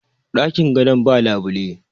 dakin gadon ba labule